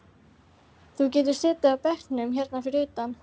Þú getur setið á bekkjunum hérna fyrir utan.